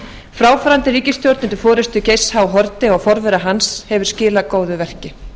fráfarandi ríkisstjórn undir forustu geirs h haarde og forvera hans hefur skilað góðu verki